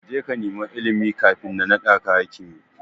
Kaje ka nema ilimi kafin na naɗaka hakimi.